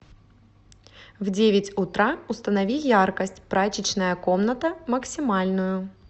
в девять утра установи яркость прачечная комната максимальную